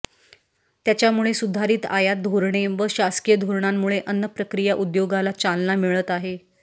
त्याच्यामुळे सुधारित आयात धोरणे व शासकीय धोरणामुळे अन्नप्रक्रिया उद्योगाला चालना मिळत आहे